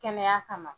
Kɛnɛya kama